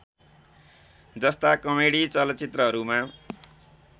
जस्ता कमेडी चलचित्रहरूमा